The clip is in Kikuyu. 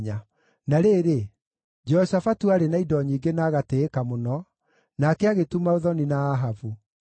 Na rĩrĩ, Jehoshafatu aarĩ na indo nyingĩ na agatĩĩka mũno, nake agĩtuma ũthoni na Ahabu.